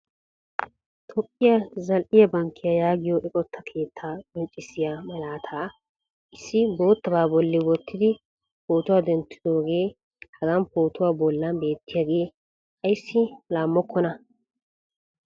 Toophiya zal"iyaa Bankkiya yaagiyo eqqota keetta qonccissiya malaata issi bootaba bolli wonttidi pootuwa denttidooge hagan pootuwa bolli beetiyaga ayssi laammokona?